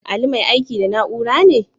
Ali mai aiki da na'ura ne?